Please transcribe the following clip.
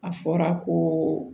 A fɔra ko